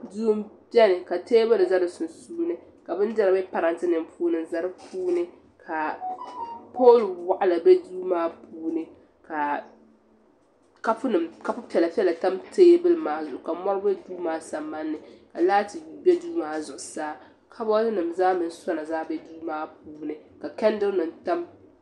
Duu m bɛni ka tɛbuli za di sunsuuni ka bindira bɛ parantɛ nim puuni n za di puuni ka pol waɣila be duu maa puuni ka kapu piɛlla piɛlla bɛ duu maa puuni ka mɔri bɛ duu maa sambani ka laati bɛ duu maa zuɣusaa ka boll nim mini sona zaa bɛ duu maa puuni.